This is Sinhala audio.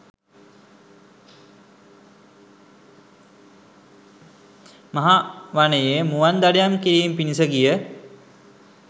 මහා වනයේ මුවන් දඩයම් කිරීම පිණිස ගිය